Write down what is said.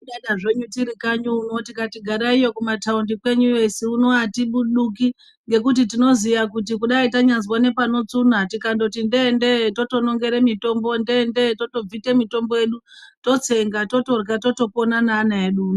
Kudada tiri kanyi uno tikati garayiyo kumataundi kwenyuyo isu uno hatibuduki ngekuti tinoziya kuti tanyambozwe panotsunya tikangoti ndee ndee tonongere mitombo ndee ndee totobvite mitombo yedu totsenga totorya totopona neana edu uno.